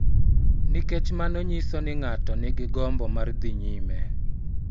Nikech mano nyiso ni ng�ato nigi gombo mar dhi nyime .